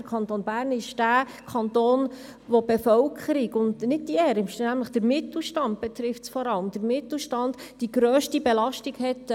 Der Kanton Bern ist der Kanton, in dem die Bevölkerung – und nicht die ärmsten, denn es betrifft vor allem den Mittelstand – schweizweit die grösste Belastung hat.